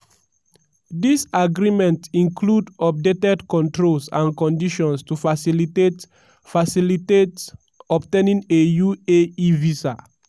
dis agreement include updated controls and conditions to facilitate facilitate obtaining a uae visa."